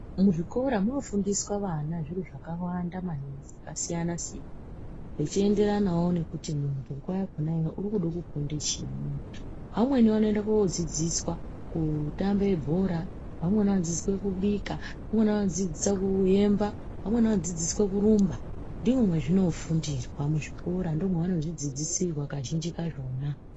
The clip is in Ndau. Muzvikora munofundiswa vana zviro zvakawanda maningi zvakasiyana-siyana, zvechienderanawo nekuti muntu nguwa yakhona iyoyo urikuda kufunda chiini. Vamweni vanoenda koodzidziswa kutambe bhora, vamweni vanodzidziswa kubika, vamweni vanodzidziswa kuemba, vamweni vanodzidziswa kurumba. Ndimwo mwezvinofundirwa muzvikora, ndoo mevanozvidzidzisirwa kazhinji kazvona.